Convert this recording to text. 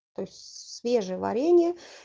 то есть свежее варенье